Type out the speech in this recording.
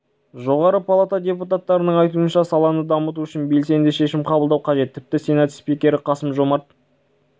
жоғары палата депутаттарының айтуынша саланы дамыту үшін белсенді шешім қабылдау қажет тіпті сенат спикері қасым-жомарт